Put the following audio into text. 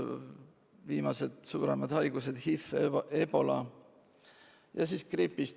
Viimased suuremad haigused on olnud HIV, Ebola viirus ja gripp.